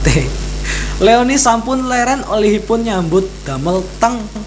Leony sampun leren olehipun nyambut damel teng